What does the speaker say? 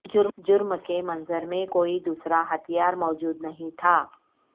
جرم کے منظر میں کوئی دوسرا ہتھیار موجود نہیں تھا